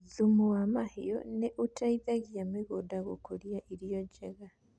Thũmũ ya mahiũ nĩ ũteithagia mũgũnda gũkũria irio njega.